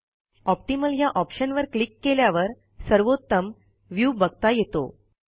optimal ह्या ऑप्शनवर click केल्यावर सर्वोत्तम व्ह्यू बघता येतो